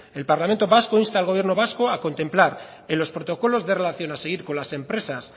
el parlamento vasco insta al gobierno vasco a contemplar en los protocolos de relación a seguir con las empresas